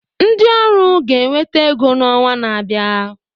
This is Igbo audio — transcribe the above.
Ndi ọrụ ga-enweta ego n’ọnwa na-abịa abịa